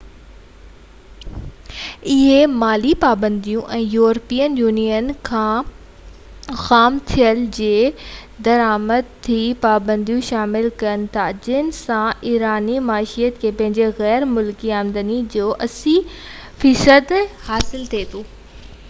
اهي مالي پابنديون ۽ يورپين يونين کان کان خام تيل جي درآمد تي پاپنديون شامل ڪن ٿا جنهن سان ايراني معيشت کي پنهنجي غير ملڪي آمدني جو 80% حاصل ٿئي ٿو